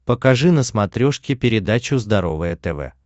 покажи на смотрешке передачу здоровое тв